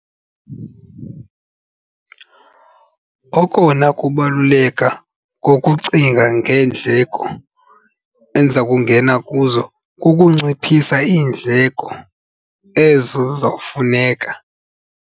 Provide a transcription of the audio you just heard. Okona kubaluleka ngokucinga ngeendleko endiza kungena kuzo kukunciphisa iindleko ezo ziza kufuneka.